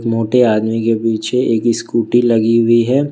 मोटे आदमी के पीछे एक स्कूटी लगी हुई है।